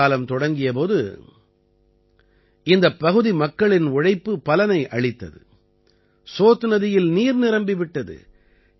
மழைக்காலம் தொடங்கிய போது இந்தப் பகுதி மக்களின் உழைப்பு பலனை அளித்தது சோத் நதியில் நீர் நிரம்பி விட்டது